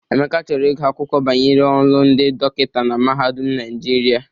Emeka chọrọ ịgụ akwụkwọ banyere ọlụ ndi dọkịta na mahadum Naijiria.